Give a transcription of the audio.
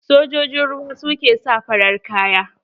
Sojojin Ruwa su ke sa farar kaya.